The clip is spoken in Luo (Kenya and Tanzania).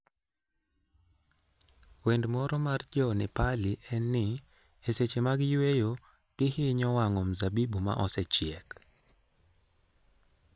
Wend moro mar Jo-Nepali en ni, e seche mag yueyo, gihinyo wang'o mzabibu ma osechiek.